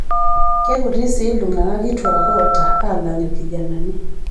Keikuti sii iltungana kituak oota alng' ilkijanani.